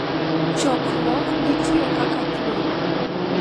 Chokruok gi tiyo kaka thuolo